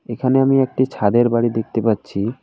এখানে আমি একটি ছাদের বাড়ি দেখতে পাচ্ছি।